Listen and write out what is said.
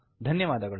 ಧನ್ಯವಾದಗಳು